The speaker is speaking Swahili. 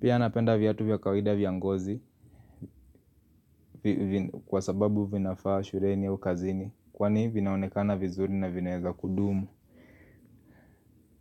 Pia napenda viatu vya kawaida vya ngozi kwa sababu vinafaa shuleni au kazini kwani vinaonekana vizuri na vinaeza kudumu.